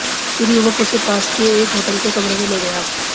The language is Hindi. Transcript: फिर युवक उसे पास के एक होटल के कमरे में ले गया